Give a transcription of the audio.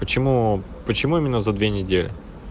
почему почему именно за две недели